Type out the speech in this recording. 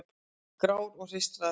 Grár og hreistraður.